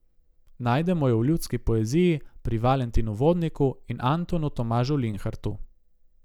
Najdemo jo v ljudski poeziji, pri Valentinu Vodniku in Antonu Tomažu Linhartu.